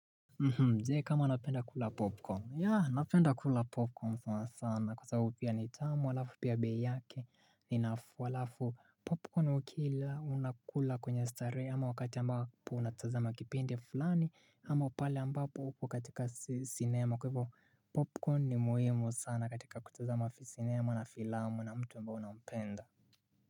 Mdee kama napenda kula popcorn yaa napenda kula popcorn sana kwa sababu ya nitamu halafu pia bei yake ninafuu halafu popcorn ukila unakula kwenye starehe ama wakati ambapo unatazama kipindi fulani ama pale ambapo uko katika cinema kwa hivo popcorn ni muhimu sana katika kutazama cinema na filamu na mtu ambaye unapenda.